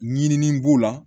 Ɲinini b'o la